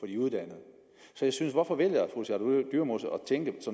de uddannede så hvorfor vælger at tænke